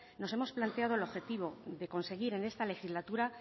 nos hemos planteado el objetivo de conseguir en esta legislatura